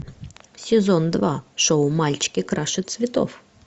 сезон два шоу мальчики краше цветов